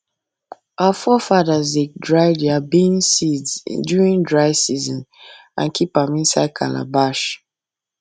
our forefathers dey dry their bean seeds during dry season and keep am inside calabash